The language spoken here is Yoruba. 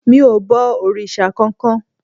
mi o bọ òrìṣà kan-kan